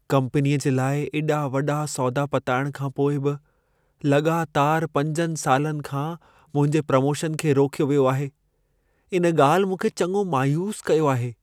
कम्पनीअ जे लाइ एॾा वॾा सौदा पताइणु खां पोइ बि लॻातारि पंजनि सालनि खां मुंहिंजे प्रोमोशन खे रोकियो वियो आहे। इन ॻाल्हि मूंखे चङो मायूसु कयो आहे।